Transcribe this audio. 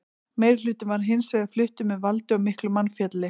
Meirihlutinn var hins vegar fluttur með valdi og miklu mannfalli.